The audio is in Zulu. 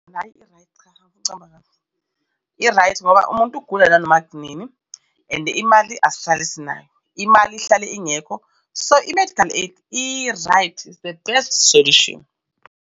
Hhayi i-right. Cha, angfuni ukucabamba amanga i-right ngoba umuntu ugula nanoma inini and imali asitshali esinayo imali ihlale ingekho. So, i-medical aid i-right, its the best solution.